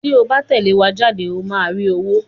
Tí o bá tẹ̀lé wa jáde ó máa rí owó.